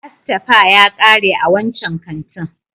Asteyper ya kare a wancan kantin.